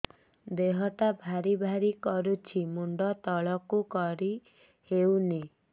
ଦେହଟା ଭାରି ଭାରି କରୁଛି ମୁଣ୍ଡ ତଳକୁ କରି ହେଉନି